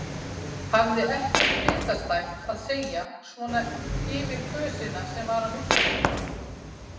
Hafði ekkert bitastætt að segja svona yfir kösina sem var á milli þeirra.